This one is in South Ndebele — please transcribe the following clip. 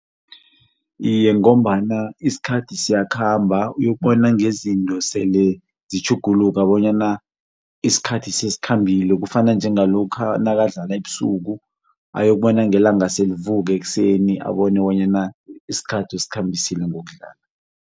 Iye ngombana isikhathi siyakhamba uyokubona ngezinto sele zitjhuguluka bonyana isikhathi sesikhambile kufana njengalokha nakadlala ebusuku ayokubona ngelanga selivuka ekuseni abone bonyana isikhathi usikhambisile ngokudlala.